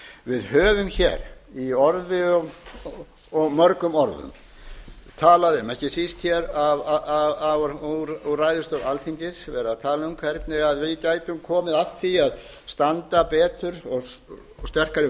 við höfum í orði og mörgum orðum talað um ekki síst úr ræðustól alþingis verið að tala um hvernig við gætum komið að því að standa betur og sterkari